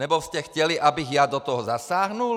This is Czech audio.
Nebo jste chtěli, abych já do toho zasáhl?